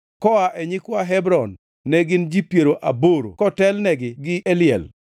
koa e nyikwa Hebron, ne gin ji piero aboro kotelnegi gi Eliel